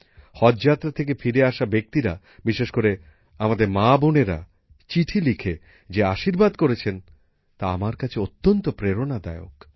হজযাত্রা থেকে ফিরে আসা ব্যক্তিরা বিশেষ করে আমাদের মাবোনেরা চিঠি লিখে যে আশীর্বাদ করেছেন তা আমার কাছে অত্যন্ত প্রেরণাদায়ক